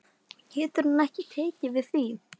Og getur hann ekki tekið því?